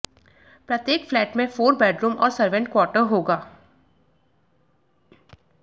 प्रत्येक फ्लैट में four bedroom और सर्वेंट क्वार्टर होगा